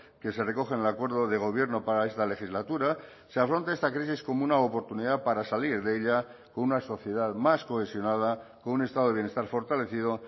que se recoge en el acuerdo de gobierno para esta legislatura se afronta esta crisis como una oportunidad para salir de ella con una sociedad más cohesionada con un estado de bienestar fortalecido